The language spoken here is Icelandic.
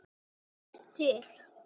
Er guð til